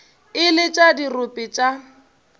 e le tša dirope tša